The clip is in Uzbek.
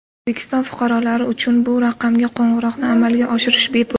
O‘zbekiston fuqarolari uchun bu raqamga qo‘ng‘iroqni amalga oshirish bepul.